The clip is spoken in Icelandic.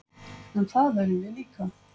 En það erum við líka